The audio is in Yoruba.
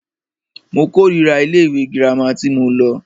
Mo kòrira ilé ìwé gírámà tí mo lọ.